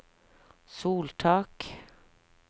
soltak